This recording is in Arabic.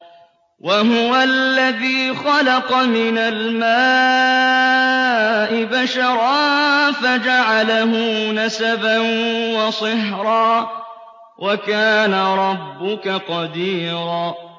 وَهُوَ الَّذِي خَلَقَ مِنَ الْمَاءِ بَشَرًا فَجَعَلَهُ نَسَبًا وَصِهْرًا ۗ وَكَانَ رَبُّكَ قَدِيرًا